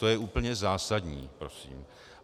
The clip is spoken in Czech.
To je úplně zásadní prosím.